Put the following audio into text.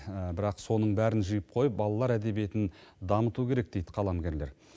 бірақ соның бәрін жиып қойып балалар әдебиетін дамыту керек дейді қаламгерлер